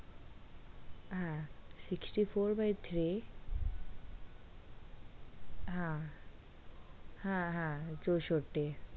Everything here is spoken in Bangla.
হ্যা sixty-four by three হ্যাঁ হ্যাঁ হ্যা চৌষটি।